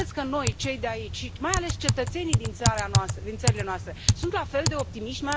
Credeți că noi, cei de aici și, mai ales, cetățenii din țara noastră, din țările noastre, sunt la fel de optimiști?